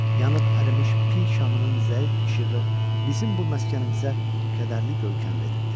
Yanıb ərimiş pi şamının zəif işığı bizim bu məskənimizə kədərli görkəm verirdi.